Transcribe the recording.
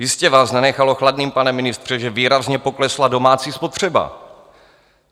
Jistě vás nenechalo chladným, pane ministře, že výrazně poklesla domácí spotřeba.